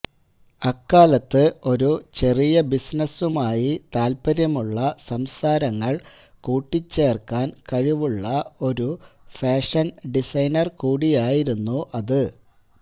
അക്കാലത്ത് ഒരു ചെറിയ ബിസിനസുമായി താൽപര്യമുള്ള സംസാരങ്ങൾ കൂട്ടിച്ചേർക്കാൻ കഴിവുള്ള ഒരു ഫാഷൻ ഡിസൈനർ കൂടിയായിരുന്നു അത്